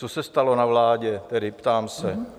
Co se stalo na vládě, tedy ptám se?